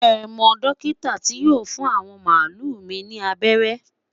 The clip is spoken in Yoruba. shey mo dókítà ti yóò fún awọn malu mi ni abẹrẹ?